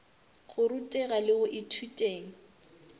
go ruteng le go ithuteng